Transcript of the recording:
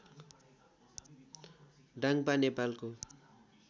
डाङापा नेपालको